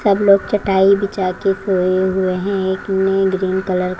सब लोग चटाई बिछा के सोए हुए हैं। एक में ग्रीन कलर --